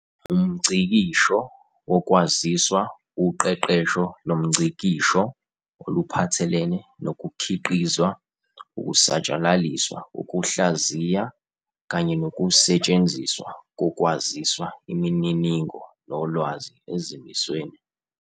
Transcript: UmNgcikisho wokwaziswa uqeqesho lomngciksho oluphathelene nokukhiqizwa, ukusatshalaliswa, ukuhlaziya, kanye nokusetshenziswa kokwaziswa, imininingo, nolwazi ezimisweni.